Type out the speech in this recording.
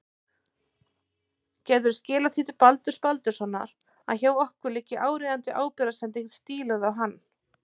Gætirðu skilað því til Baldurs Baldurssonar að hjá okkur liggi áríðandi ábyrgðarsending stíluð á hann.